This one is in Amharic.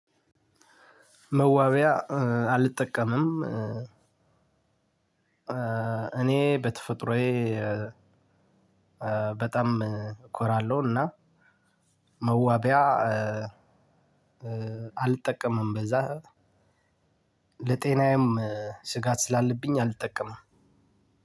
መዋባያ አልጠቀምም። እኔ በተፈጥሮዬ ኮራለሁ። መዋቢያ አልጠቀምም። በዛ ለጤናዬም ስጋት ስላለብኝ አልጠቀምም።